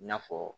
I n'a fɔ